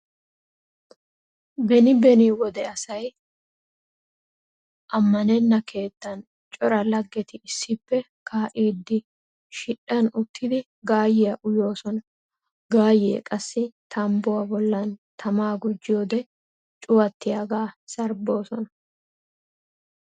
Beni beni wode asay ammanenna keettan cora laggeti issippe kaa'iiddi shidhdhan uttidi gaayyiya uyoosona. Gaayyee qassi tambbuwa bollan tamaa gujjiyode cuwattiyagaa sarbboosona.